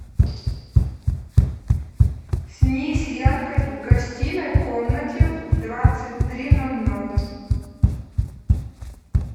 снизь яркость в гостиной комнате в двадцать три ноль ноль